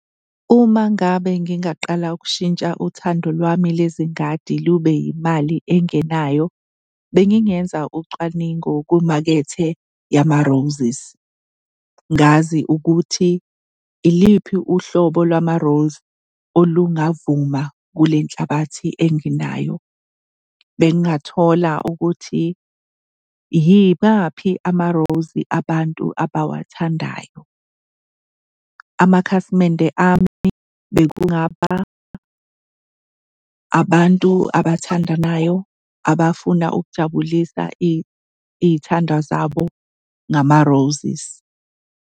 Uma ngabe ngingaqala ukushintsha uthando lwami lezingadi lube yimali engenayo, bengingeza ucwaningo kwimakethe yama-roses, ngazi ukuthi iliphi uhlobo lwama-rose olungavuma kule nhlabathi enginayo. Bengingathola ukuthi yibaphi ama-rose abantu abawathandayo. Amakhasimende ami bekungaba abantu abathandanayo abafuna ukujabulisa iy'thandwa zabo ngama-roses.